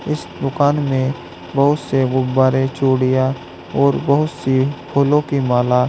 इस दुकान में बहुत से गुब्बारे चूड़ियां और बहुत सी फूलों की माला--